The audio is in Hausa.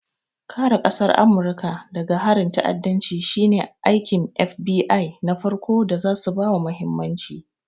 Kare ƙasar Amurika daga harin ta'addanci shine aikin FBI na farko da zasu bawa mahimmanci.